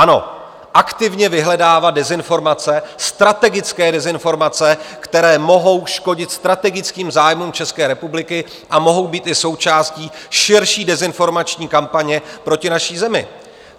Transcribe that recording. Ano, aktivně vyhledávat dezinformace, strategické dezinformace, které mohou škodit strategickým zájmům České republiky, a mohou být i součástí širší dezinformační kampaně proti naší zemi.